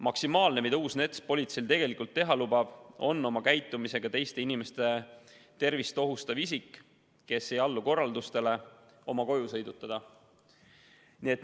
Maksimaalne, mida uus NETS politseil tegelikult teha lubab, on oma käitumisega teiste inimeste tervist ohustav isik, kes ei allu korraldustele, tema koju sõidutada.